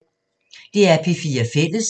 DR P4 Fælles